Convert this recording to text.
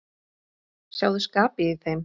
Sjáðu skapið í þeim.